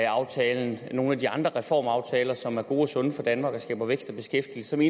aftalen og nogle af de andre reformaftaler som er gode og sunde for danmark og skaber vækst og beskæftigelse vil